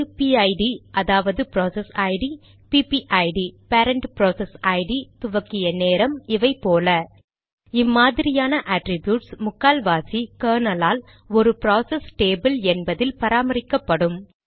அது பிஐடிPIDஅதாவது process id பிபிஐடிPPIDபேரன்ட் ப்ராசஸ் ஐடி துவக்கிய நேரம் இவை போல இம்மாதிரியான அட்ரிப்யூட்ஸ் முக்கால்வாசி கெர்னல் ஆல் ஒரு ப்ராசஸ் டேபிள் என்பதில் பராமரிக்கப்படும்